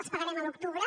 els pagarem a l’octubre